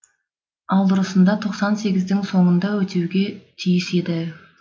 ал дұрысында тоқсан сегіздің соңында өтуге тиіс еді